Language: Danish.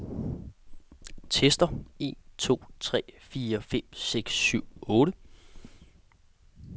Tester en to tre fire fem seks syv otte.